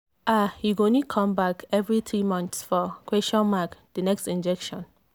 ah you go need come back every three months for the next injection.